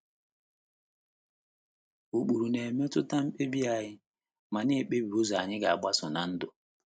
Ụkpụrụ na - emetụta mkpebi anyị ma na - ekpebi ụzọ anyị ga - agbaso ná ndụ.